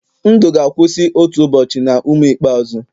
ndụ ga-akwụsị otu ụbọchị na ume ikpeazụ.